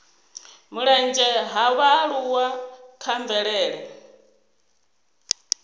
mulenzhe ha vhaaluwa kha mvelele